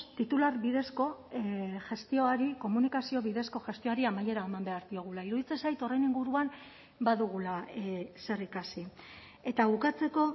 titular bidezko gestioari komunikazio bidezko gestioari amaiera eman behar diogula iruditzen zait horren inguruan badugula zer ikasi eta bukatzeko